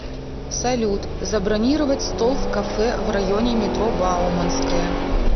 салют забронировать стол в кафе в районе метро бауманская